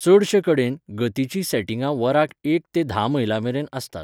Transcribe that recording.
चडशे कडेन, गतिचीं सॅटिंगां वराक एक ते धा मैलांमेरेन आसतात.